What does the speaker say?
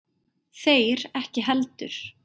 Þeir ekki heldur.